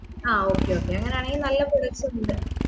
ആ okay okay അങ്ങനെയാണെങ്കി നല്ല products ഉണ്ട്